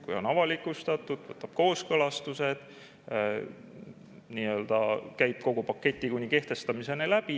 Kui on avalikustatud, võtab kooskõlastused, käib kogu paketi kuni kehtestamiseni läbi.